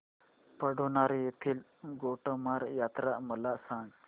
पांढुर्णा येथील गोटमार यात्रा मला सांग